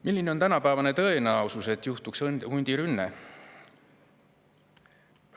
Milline on tänapäevane tõenäosus, et juhtuks hundirünne?